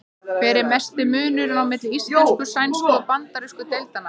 Hver er mesti munurinn á milli íslensku-, sænsku- og bandarísku deildanna?